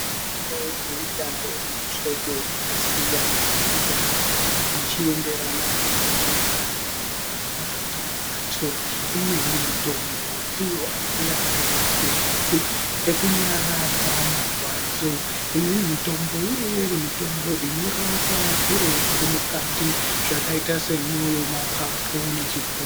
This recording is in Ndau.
Mitombo inouya iri muhlobo wakasiyana siyana zvichienderana ngenjira yainorapa ndiyo antu. Imweni mitombo ndiyo anouya arimapilizi ekunyaradza marwadzo, imweni mitombo inouya irimitombo inorapa zviro zvirimukati zvakaita semwoyo mapapu nechifuwa.